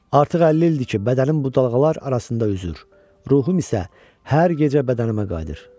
Artıq 50 ildir ki, bədənim bu dalğalar arasında üzür, ruhum isə hər gecə bədənimə qayıdır.